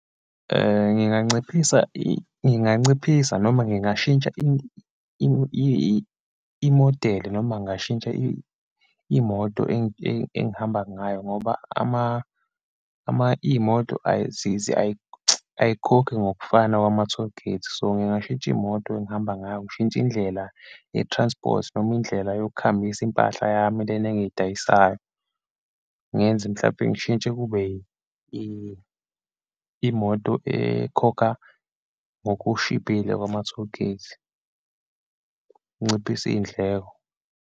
Ngiganciphisa nginganciphisa noma ngingashintsha imodeli, noma ngingashintsha imoto engihamba ngayo ngoba iyimoto ayikhokhi ngokufana kwama-tollgate. So, ngingashintsha imoto engihamba ngayo, ngishintshe indlela ye-transport, noma indlela yokuhambisa impahla yami lena engiyidayisayo, ngenze mhlampe ngishintshe kube yimoto ekhokha ngokushibhile kwama-tollgate, nginciphise iyindleko.